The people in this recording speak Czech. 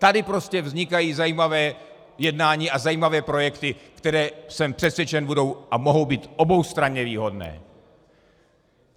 Tady prostě vznikají zajímavá jednání a zajímavé projekty, které, jsem přesvědčen, budou a mohou být oboustranně výhodné.